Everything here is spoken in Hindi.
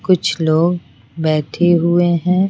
कुछ लोग बैठे हुए हैं।